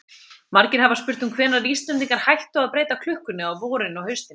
Margir hafa spurt um hvenær Íslendingar hættu að breyta klukkunni á vorin og haustin.